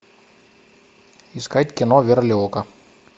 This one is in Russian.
искать кино верлиока